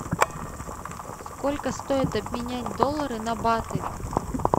сколько стоит обменять доллары на баты